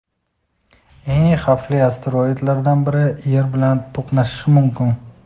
Eng xavfli asteroidlardan biri Yer bilan to‘qnashishi mumkin.